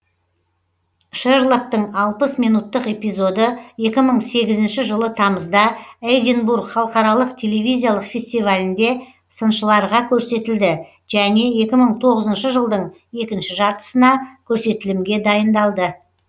шерлоктың алпыс минуттық эпизоды екі мың сегізінші жылы тамызда эдинбург халықаралық телевизиялық фестивалінде сыншыларға көрсетілді және екі мың тоғызыншы жылдың екінші жартысына көрсетілімге дайындалды